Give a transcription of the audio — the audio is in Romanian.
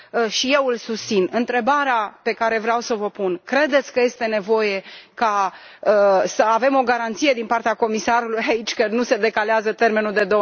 Și eu îl susțin. Întrebarea pe care vreau să v o pun credeți că este nevoie să avem o garanție din partea comisarului aici prezent că nu se decalează termenul de